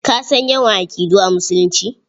Ka san yawan aƙidu a Musulunci?